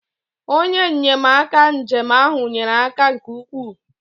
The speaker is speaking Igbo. onye nnyemaka njem ahụ nyere aka nke ukwuu